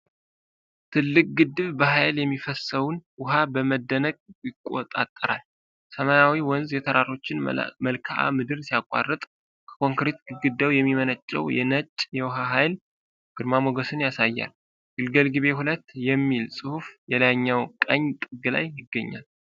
ትልቅ ግድብ በኃይል የሚፈሰውን ውሃ በመደነቅ ይቆጣጠራል። ሰማያዊው ወንዝ የተራሮችን መልክዓ ምድር ሲያቋርጥ፤ ከኮንክሪት ግድግዳው የሚመነጨው ነጭ የውሃ ኃይል ግርማ ሞገስን ያሳያል። "ግልገል ግቤ 2" የሚል ጽሑፍ በላይኛው ቀኝ ጥግ ላይ ይገኛል።